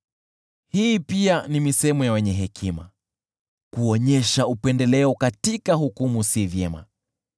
Hii pia ni misemo ya wenye hekima: Kuonyesha upendeleo katika hukumu si vyema: